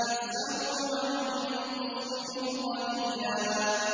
نِّصْفَهُ أَوِ انقُصْ مِنْهُ قَلِيلًا